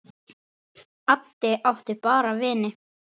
Addi átti bara vini.